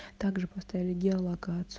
также поставили гео локацию